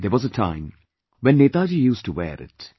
There was a time when Netaji used to wear it